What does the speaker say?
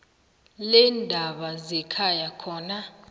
leendaba zekhaya khona